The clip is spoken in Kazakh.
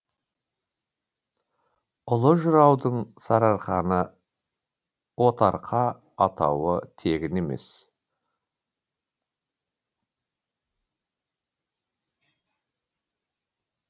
ұлы жыраудың сарыарқаны отарқа атауы тегін емес